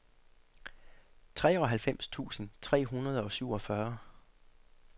treoghalvfems tusind tre hundrede og syvogfyrre